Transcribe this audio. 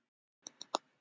Skýin tala um regn.